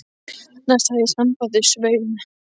Næst hafði ég samband við Svein